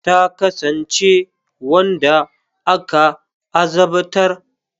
Ta kasance wanda aka azabtar.